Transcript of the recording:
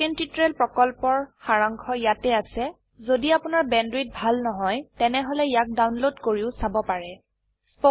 httpspoken tutorialorgWhat is a Spoken tutorial spoken tutorial প্ৰকল্পৰ সাৰাংশ ইয়াত আছে যদি আপোনাৰ বেণ্ডৱিডথ ভাল নহয় তেনেহলে ইয়াক ডাউনলোড কৰি চাব পাৰে